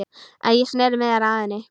Ég sneri mér að henni.